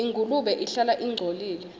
ingulube ihlala ingcolile